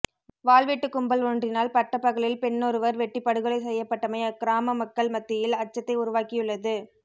வாள்வெட்டுக் கும்பல் ஒன்றினால் பட்டப்பகலில் பெண்ணொருவர் வெட்டிப் படுகொலை செய்யப்பட்டமை அக்கிராம மக்கள் மத்தியில் அச்சத்தை உருவாக்கியுள்ளது